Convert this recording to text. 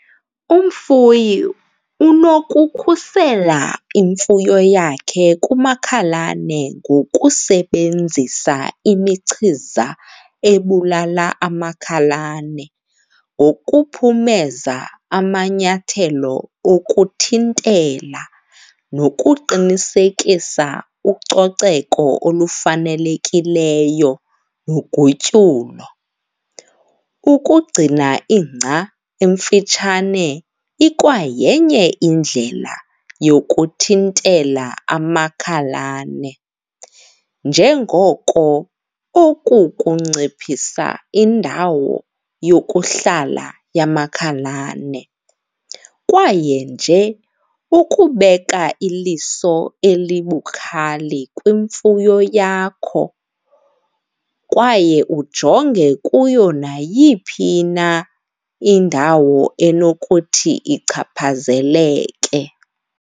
Umfuyi unokukhusela imfuyo yakhe kumakhalane ngokusebenzisa imichiza ebulala amakhalane, ngokuphumeza amanyathelo okuthintela nokuqinisekisa ucoceko olufanelekileyo nogutyulo. Ukugcina ingca emfitshane ikwayenye indlela yokuthintela amakhalane njengoko oku kunciphisa indawo yokuhlala yamakhalane. Kwaye nje ukubeka iliso elibukali kwimfuyo yakho kwaye ujonge kuyo nayiphi na indawo enokuthi ichaphazeleke.